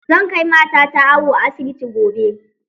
Zan kai matata awo a asibiti gobe